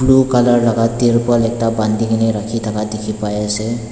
blue colour laga tirpal ekta bandi kena rakhi thaka dekhi pai ase.